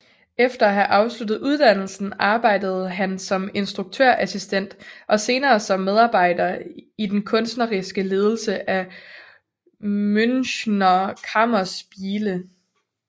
Efter at have afsluttet uddannelsen arbejdede han som instruktørassistent og senere som medarbejder i den kunstneriske ledelse af Münchner Kammerspiele